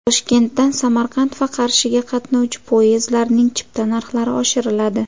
Toshkentdan Samarqand va Qarshiga qatnovchi poyezdlarning chipta narxlari oshiriladi.